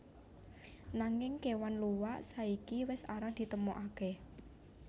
Nanging kéwan luwak saiki wis arang ditemokaké